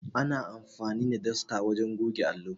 Ana amfani da dasta wajen goge allo.